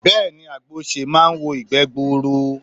Bẹ́ẹ̀ni àgbo osè máa wo ìgbé gbuuru